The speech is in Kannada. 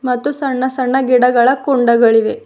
ಮತ್ತು ಸಣ್ಣ ಸಣ್ಣ ಗಿಡಗಳ ಕುಂಡಗಳಿವೆ.